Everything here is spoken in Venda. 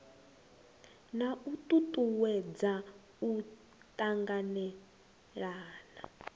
na u tutuwedza u tanganelana